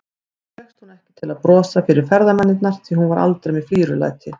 Þó fékkst hún ekki til að brosa fyrir ferðamennina, því hún var aldrei með flírulæti.